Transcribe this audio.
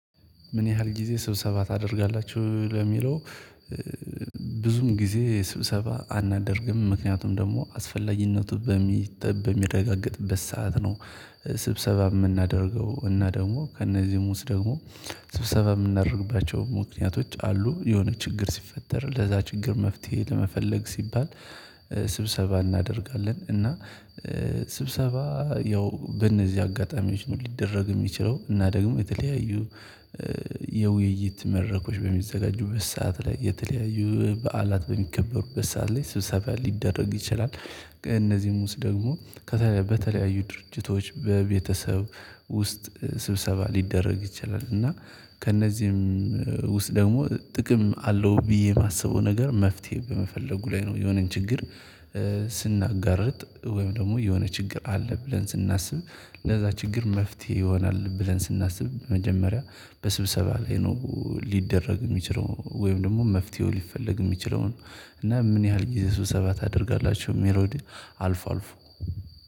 ምን ያህል ጊዜ ስብሰባ ታደርጋላችሁ ለሚለው? ብዙም ጊዜ ስብሰባ አናደርግም ምክንያቱም ደግሞ አስፈላጊነቱ በሚጠብ በሚረጋገጥበት ሰዓት ነው። ስብሰባ የምናደርገው እና ደግሞ ከእነዚህ ውስጥ ደግሞ ስብሰባ የምናደርግባቸው ምክንያቶች አሉ የሆነ ችግር ሲፈጠር ለዛ ችግር መፍትሄ ለመፈለግ ሲባል። ስብሰባ እናደርጋለን እና። ስብሰባ ያው በእነዚህ አጋጣሚዎች ነው ሊደረግ የሚችለው እና ደግሞ የተለያዩ የውይይት መድረኮች በሚዘጋጁ በሰአት ላይ የተለያዩ በዓላት በሚከበሩበት ሰዓት ላይ ስብሰባ ሊደረግ ይችላል። እነዚህ ውስጥ ደግሞ በተለያዩ ድርጅቶች በቤተሰብ ውስጥ ስብሰባ ሊደረግ ይችላል እና ከእነዚህም ውስጥ ደግሞ ጥቅም አለው ብዬ የማስበው ነገር መፍትሄ በመፈለጉ ላይ ነው። የሆነን ችግር። ስናጋርጥ ወይም ደግሞ የሆነ ችግር አለ ብለን ስናስብ ለዛ ችግር መፍትሄ ይሆናል ብለን ስናስብ መጀመሪያ በስብሰባ ላይ ነው ሊደረግ የሚችለው ወይም ደግሞ መፍትሄው ሊፈለግ የሚችለው ነው። እና ምን ያህል ጊዜ ስብሰባ ታደርጋላችሁ ለሚለው? አልፎ አልፎ